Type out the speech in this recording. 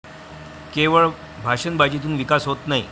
केवळ भाषणबाजीतून विकास होत नाही.